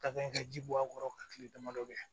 Ka kan ka ji bɔ a kɔrɔ ka kile damadɔ kɛ